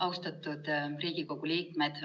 Austatud Riigikogu liikmed!